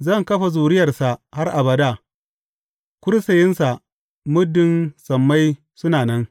Zan kafa zuriyarsa har abada, kursiyinsa muddin sammai suna nan.